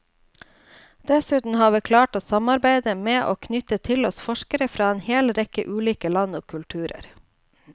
Dessuten har vi klart å samarbeide med og knytte til oss forskere fra en hel rekke ulike land og kulturer.